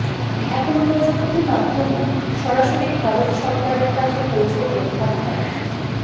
এখন প্রযুক্তি মাধ্যমে সরাসরি ভারত সরকারের কাছে পৌঁছবেন আপনারা